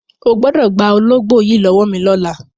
O gbọ́dọ̀ gba ológbò yìí lọ́wọ́ mi lọ́la!